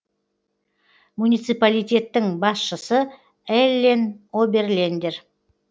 муниципалитеттің басшысы эллен оберлендер